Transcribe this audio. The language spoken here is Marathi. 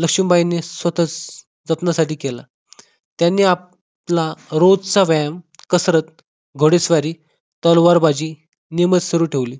लक्ष्मीबाईंनी स्वतः जपण्यासाठी केला त्यांनी आपल्या रोजचा व्यायाम कसरत घोडेस्वारी तलवारबाजी नियमित सुरू ठेवली